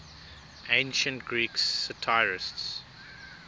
ancient greek satirists